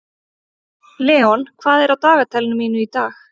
Leon, hvað er á dagatalinu mínu í dag?